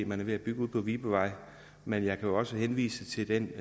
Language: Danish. man er ved at bygge ude på vibevej men jeg kan også henvise til den